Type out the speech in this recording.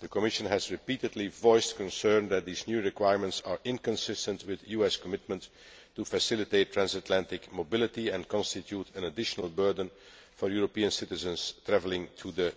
the Commission has repeatedly voiced concern that these new requirements are inconsistent with US commitments to facilitate transatlantic mobility and constitute an additional burden for European citizens travelling to the